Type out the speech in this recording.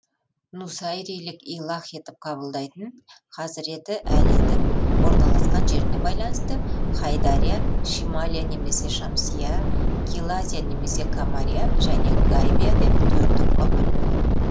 нусайрилік илах етіп қабылдайтын хазіреті әлидің орналасқан жеріне байланысты хайдария шималия немесе шамсия килазия немесе камария және гайбия деп төрт топқа бөлінеді